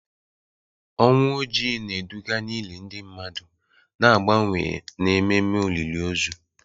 Ọnwụ Ojii na-eduga n'ili ndị mmadụ na mgbanwe n'ememe olili ozu.